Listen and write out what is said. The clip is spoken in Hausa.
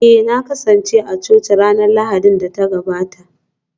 Eh na kasance a coci ranar Lahadin da ta gabata